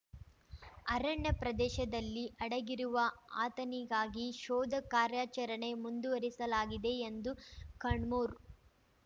ಅರಣ್ಯ ಪ್ರದೇಶದಲ್ಲಿ ಅಡಗಿರುವ ಆತನಿಗಾಗಿ ಶೋಧ ಕಾರ್ಯಾಚರಣೆ ಮುಂದುವರಿಸಲಾಗಿದೆ ಎಂದು ಕಣ್ಮೂರ್